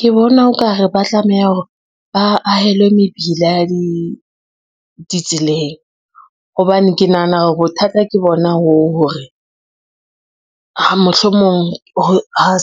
Ke bona o kare ba tlameha hore ba ahelwe mebila ya ditseleng, hobane ke nahana hore bothata ke bona hoo hore, mohlomong